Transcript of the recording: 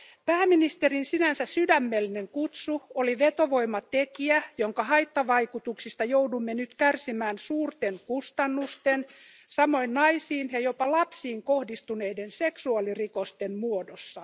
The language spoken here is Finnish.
Pääministerin sinänsä sydämellinen kutsu oli vetovoimatekijä, jonka haittavaikutuksista joudumme nyt kärsimään suurten kustannusten, samoin naisiin ja jopa lapsiin kohdistuneiden seksuaalirikosten muodossa.